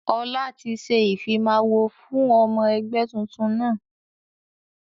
Ọlá tí ṣe ìfimawo fún ọmọ ẹgbẹ́ tuntun náà.